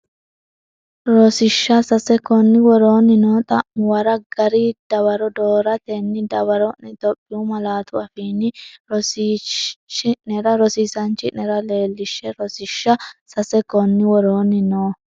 Rosiishsha Sase Konni woroonni noo xa’muwara gari dawaro dooratenni dawaro’ne Itophiyu malaatu afiinni Rosiisaanchi’nera leellishshe Rosiishsha Sase Konni woroonni noo.